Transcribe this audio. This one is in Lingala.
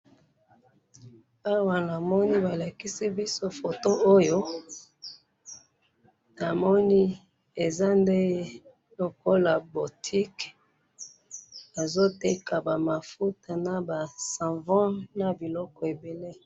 awa na moni ba lakisi biso photo oyo na moni eza nde lokola botique ba zo' teka bamafuta na basavons na biloko ebele